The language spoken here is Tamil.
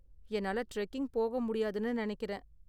என்னால டிரெக்கிங் போக முடியாதுனு நினைக்கிறேன்.